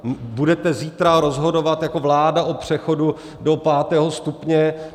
Budete zítra rozhodovat jako vláda o přechodu do pátého stupně.